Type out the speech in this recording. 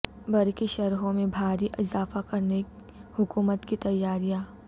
برقی شرحوں میں بھاری اضافہ کرنے حکومت کی تیاریاں